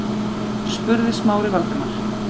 spurði Smári Valdimar.